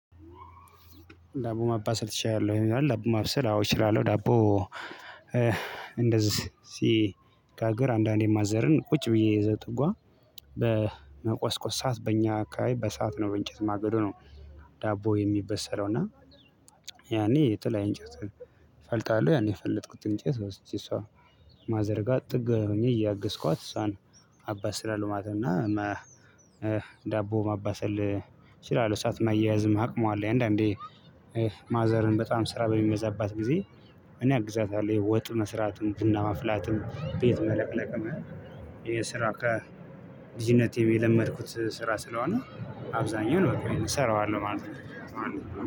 ዳቦ ማባሰል ትችላለህ ወይ ይላል? ዳቦ ማብሰል አዎ እችላለሁ ዳቦ እንደዚህ ሲጋግር አንዳንዴ ማዘርን ቁጭ ብዬ እዛ ጥጓ በመቆስቆስ ሰዓት በእኛ አካባቢ በእሳት ነው በእንጨት ማገዶ ነው። ዳቦ የሚበሰለው እና ያኔ የተለያየ እንጨት እፈልጣለሁ ያን የፈለጥኩት እንጨት ወስጄ እሷ ማዘርጋ ጥግ ሆኜ እያገዝኳት እሷን አባስላለው ማለት ነው። እና ዳቦ ማባሰል እችላለው እሳት ማያያዝም አቅሙ አለኝ አንዳንዴ ማዘርን በጣም ስራ በሚበዛባት ጊዜ እኔ አግዛታለሁ። ወጥ መስራትም ቡና ማፍላትም ቤት መለቅለቅም የስራ ከልጅነቴ የለመድኩት ስራ ስለሆነ አብዛኛውን እሰራዋለሁ ማለት ነው።